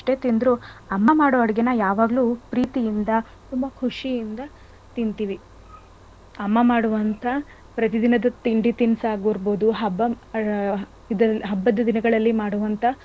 ತಿಂದ್ರು ಅಮ್ಮ ಮಾಡೋ ಅಡಗೆನಾ ಯಾವಾಗ್ಲೂ ಪ್ರೀತಿ ಇಂದ ಖುಷಿ ಇಂದ ತಿಂತೀವಿ . ಅಮ್ಮ ಮಾಡುವಂತ ಪ್ರತಿದಿನದ ತಿಂಡಿ ತಿನ್ಸ್ ಆಗಿರ್ಬೋದು ಹಬ್ಬದಿನ ಹಾ ಆ ಹಬ್ಬದ ದಿನಗಳ್ಳಲ್ಲಿ ಮಾಡುವಂತಹ,